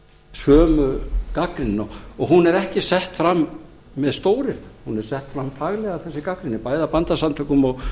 sömu gagnrýni og hún er ekki sett fram með stóryrðum hún er sett fram faglega þessi gagnrýni bæði af bændasamtökunum